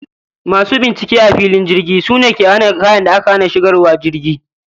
Masu binciken kaya a filin jirgi sune ke hana kayan da aka hana shigarwa jirgi